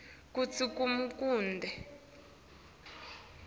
kutsi kumele kube